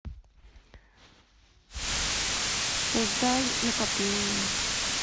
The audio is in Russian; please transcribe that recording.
создай накопление